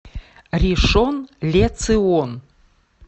ришон ле цион